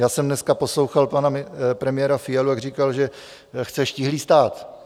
Já jsem dneska poslouchal pana premiéra Fialu, jak říkal, že chce štíhlý stát.